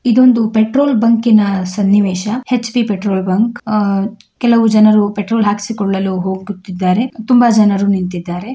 ಇದೊಂದು petrol bunk ಸನ್ನಿವೇಶ HP petrol bunk ಆಹ್ಹ್ ಕೆಲವು ಜನರು ಪೆಟ್ರೋಲ್ ಹಾಕಿಸಿಕೊಳ್ಳಲು ಹೋಗುತ್ತಿದ್ದಾರೆ ತುಂಬಾ ಜನರು ನಿಂತಿದ್ದಾರೆ.